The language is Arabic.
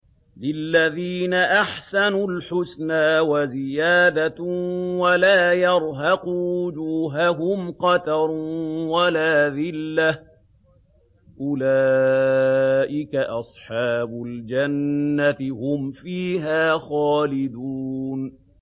۞ لِّلَّذِينَ أَحْسَنُوا الْحُسْنَىٰ وَزِيَادَةٌ ۖ وَلَا يَرْهَقُ وُجُوهَهُمْ قَتَرٌ وَلَا ذِلَّةٌ ۚ أُولَٰئِكَ أَصْحَابُ الْجَنَّةِ ۖ هُمْ فِيهَا خَالِدُونَ